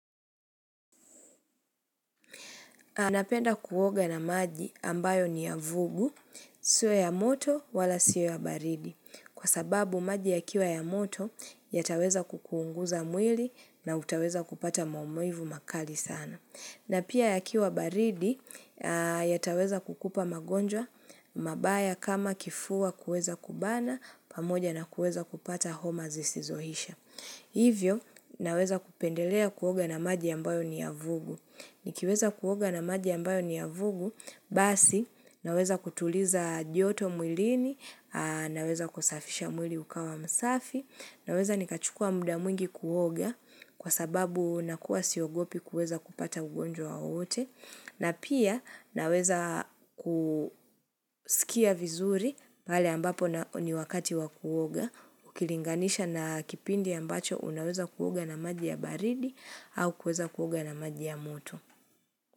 Na penda kuoga na maji ambayo niyavugu, sio ya moto wala sio ya baridi. Kwa sababu maji ya kiwa ya moto yataweza kukuunguza mwili na utaweza kupata maumivu makali sana. Na pia ya kiwa baridi yataweza kukupa magonjwa mabaya kama kifua kueza kubana pamoja na kueza kupata homa zisizoisha. Hivyo, naweza kupendelea kuoga na maji ambayo ni ya vugu. Nikiweza kuoga na maji ambayo ni ya vugu, basi, naweza kutuliza joto mwilini, naweza kusafisha mwili ukawa msafi, naweza nikachukua muda mwingi kuoga kwa sababu nakuwa siogopi kuweza kupata ugonjwa wowote, na pia naweza kusikia vizuri pale ambapo ni wakati wa kuoga, ukilinganisha na kipindi ambacho unaweza kuoga na maji ya baridi au kuweza kuoga na maji ya moto.